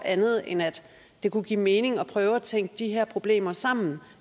andet end at det kunne give mening at prøve at tænke de her problemer sammen